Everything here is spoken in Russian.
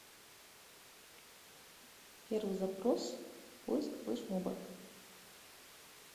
первый запрос поиск флешмобов